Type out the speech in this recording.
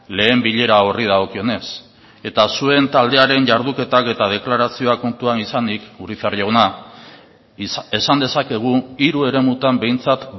lehen bilera horri dagokionez eta zuen taldearen jarduketak eta deklarazioak kontuan izanik urizar jauna esan dezakegu hiru eremutan behintzat